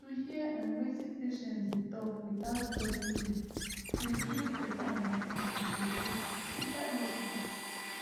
to hear um wetin patients dey talk without judging dem dey build better understanding true true inside hospital